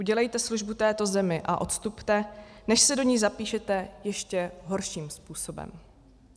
Udělejte službu této zemi a odstupte, než se do ní zapíšete ještě horším způsobem.